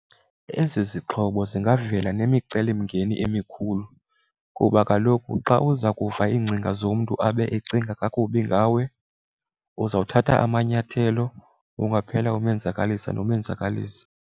Ezi zixhobo zingavela nemicelimngeni emikhulu kuba kaloku xa uza kuva iingcinga zomntu abe ecinga kakubi ngawe uzawuthatha amanyathelo, ungaphela umenzakalisa nomenzakalisa.